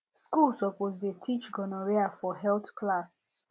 school suppose dey teach gonorrhea for health class